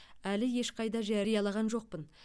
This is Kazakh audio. әлі ешқайда жариялаған жоқпын